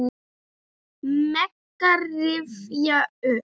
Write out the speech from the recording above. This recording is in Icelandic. Mega rifja upp.